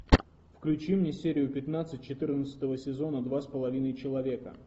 включи мне серию пятнадцать четырнадцатого сезона два с половиной человека